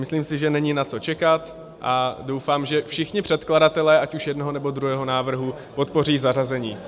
Myslím si, že není na co čekat, a doufám, že všichni předkladatelé ať už jednoho, nebo druhého návrhu podpoří zařazení.